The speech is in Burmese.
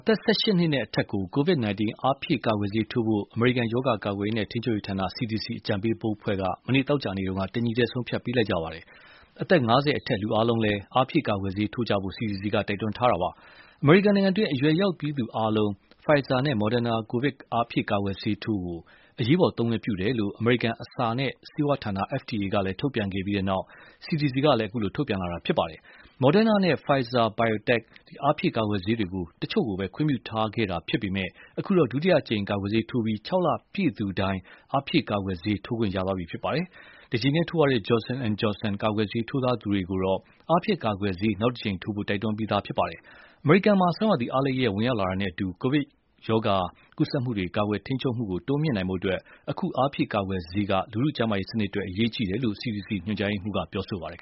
သက် ၁၈ နှစ်နဲ့အထက်ကို COVID-19 အားဖြည့်ကာကွယ်ဆေးထိုးဖို့ အမေရိကန် ရောဂါကာကွယ်ရေးနဲ့ ထိန်းချုပ်ရေးဌာန (CDC) အကြံပေးဘုတ်အဖွဲ့က မနေ့ သောကြာနေ့က တညီတည်း ဆုံးဖြတ်ပေးလိုက်ကြပါတယ်။ အသက် ၅၀ အထက် လူအားလုံးလည်း အားဖြည့်ကာကွယ်ဆေး ထိုးကြဖို့ CDC က တိုက်တွန်းထားပါတယ်။ အမေရိကန်နိုင်ငံတွင်း အရွယ်ရောက်ပြီးသူအားလုံး Pfizer နဲ့ Moderna ကိုဗစ် အားဖြည့်ကာကွယ်ဆေးထိုး အရေးပေါ်သုံးခွင့် ပြုတယ်လို့ အမေရိကန် အစာနဲ့ ဆေးဝါးဌာန (FDA) က ထုတ်ပြန်ခဲ့ပြီးနောက် CDC ကလည်း အခုလို ထုတ်ပြန်လာတာပါ။ Moderna နဲ့ Pfizer-BioNTech အားဖြည့်ကာကွယ်ဆေးတွေကို တချို့ကိုပဲ ခွင့်ပြုထားခဲ့တာ ဖြစ်ပေမယ့် အခုတော့ ဒုတိယအကြိမ် ကာကွယ်ဆေးထိုးပြီး ၆ လပြည့်သူတိုင်း အားဖြည့်ကာကွယ်ဆေး ထိုးခွင့်ရပါပြီ။ တကြိမ်တည်းထိုးရတဲ့ Johnson and Johnson ကာကွယ်ဆေး ထိုးထားသူတွေကိုတော့ အားဖြည့်ကာကွယ်ဆေး နောက်တကြိမ်ထိုးဖို့ တိုက်တွန်းပြီးသားပါ။ အမေရိကန်မှာ ဆောင်းရာသီ အားလပ်ရက် ဝင်ရောက်လာတာနဲ့အတူ ကိုဗစ်ဗိုင်းရပ်စ် ကူးစက်မှုတွေ ကာကွယ်ထိန်းချုပ်မှု တိုးမြှင့်နိုင်ဖို့ အခု အားဖြည့်ကာကွယ်ဆေးက လူထုကျန်းမာရေးစနစ်အတွက် အရေးကြီးတယ်လို့ CDC ညွှန်ကြားရေးမှူး Rochelle Walensky က ပြောပါတယ်။